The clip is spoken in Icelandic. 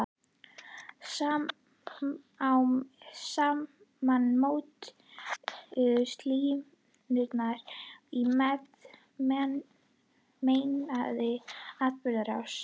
Smám saman mótuðust línur í meintri atburðarás.